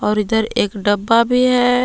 और इधर एक डब्बा भी है।